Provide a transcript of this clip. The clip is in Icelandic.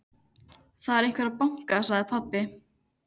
Það er einhver að banka, sagði pabbi.